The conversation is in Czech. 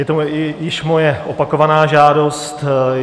Je to již moje opakovaná žádost.